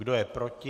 Kdo je proti?